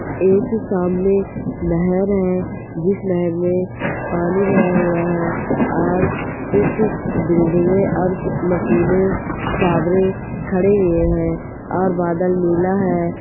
एक सामने नहर है जिस नहर में पानी भरा हुआ है और कुछ बिल्डिंगे और मशीनें टावर खड़े हुए हैं और बादल नीला हैं|